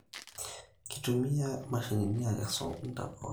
Kitumiai imashinini akesu intapuka